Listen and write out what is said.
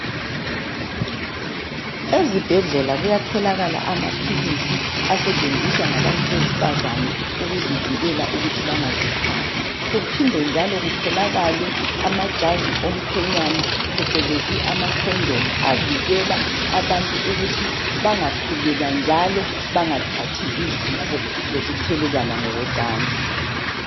Ezibhedlela kuyatholakala amaphilisi asetshenziswa ngabantu besifazana ukuzivikela ukuthi bengazithwali. Kuphinde njalo kutholakale amajazi omkhwenyana phecelezi amakhondomu avikela abantu ukuthi bangakhulelwa njalo bangathathi izifo zokuthelelwana ngokocansi.